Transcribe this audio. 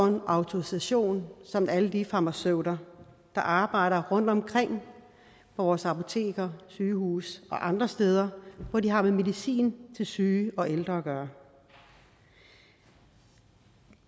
en autorisation ligesom alle de farmaceuter der arbejder rundtomkring på vores apoteker sygehuse og andre steder hvor de har med medicin til syge og ældre at gøre vi